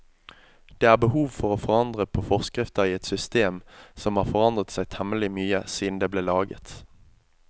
Det er behov for å forandre på forskrifter i et system som har forandret seg temmelig mye siden det ble laget.